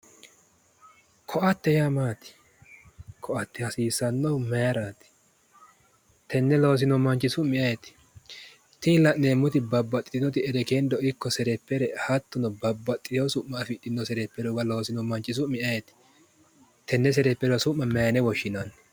Ko'atte yaa maati? ko'ate hasiissannohu maayiiraati? teenne loosino manchi su'mi ayeeti? tini la'neemmoti babbaxitinoti erekkendo ikko serephere hattono babbaxxeewo su'ma afidhino serephuwa loosino manchi su'mi ayeeti? tenne serepherubba su'ma maayeene woshshinanni?